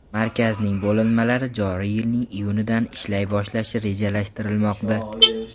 Markazning bo‘linmalari joriy yilning iyunidan ishlay boshlashi rejalashtirilmoqda.